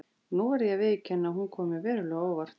Og ég verð að viðurkenna að hún kom mér verulega á óvart.